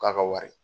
K'a ka wari